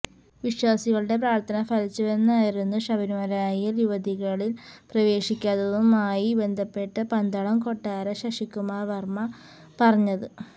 വിശ്വാസികളുടെ പ്രാര്ത്ഥന ഫലിച്ചുവെന്നായിരുന്നു ശബരിമലയില് യുവതികളില് പ്രവേശിക്കാത്തതുമായി ബന്ധപ്പെട്ട് പന്തളം കൊട്ടാര ശശികുമാര വര്മ്മ പറഞ്ഞത്